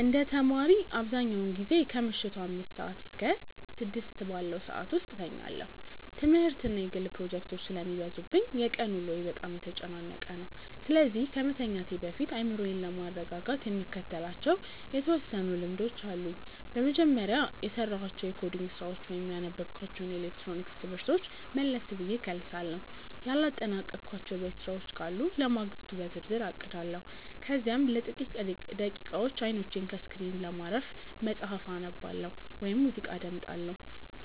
እንደ ተማሪ፣ አብዛኛውን ጊዜ ከምሽቱ አምስት እስከ ስድስት ባለው ሰዓት ውስጥ እተኛለሁ። ትምህርትና የግል ፕሮጀክቶች ስለሚበዙብኝ የቀን ውሎዬ በጣም የተጨናነቀ ነው፤ ስለዚህ ከመተኛቴ በፊት አእምሮዬን ለማረጋጋት የምከተላቸው የተወሰኑ ልምዶች አሉኝ። በመጀመሪያ፣ የሰራኋቸውን የኮዲንግ ስራዎች ወይም ያነበብኳቸውን የኤሌክትሮኒክስ ትምህርቶች መለስ ብዬ እከልሳለሁ። ያላጠናቀቅኳቸው የቤት ስራዎች ካሉ ለማግስቱ በዝርዝር አቅዳለሁ። ከዚያም ለጥቂት ደቂቃዎች አይኖቼን ከስክሪን ለማረፍ መጽሐፍ አነባለሁ ወይም ሙዚቃ አዳምጣለሁ።